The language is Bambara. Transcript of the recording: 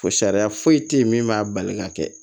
Fo sariya foyi tɛ yen min b'a bali ka kɛ